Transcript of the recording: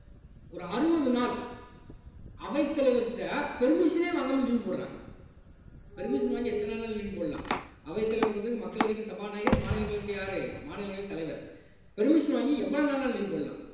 ஒரு அறுபது நாள் அவைத்தலைவர்கிட்ட permission ஏ வாங்காமல் leave போடுறாங்க permission வாங்கி எத்தன நாள்னாலும் leave போடலாம் அவைத்தலைவர் வந்ததுக்கு மக்களவைக்கு சபாநாயகர் மாநிலங்களவைக்கு யாரு மாநிலங்களவை தலைவர் permission வாங்கி எவ்வளவு நாள்னாலும் leave போடலாம்